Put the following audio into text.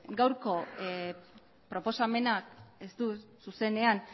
gaurko proposamena ez du zuzenean